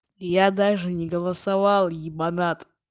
я даже не голосовал ебанат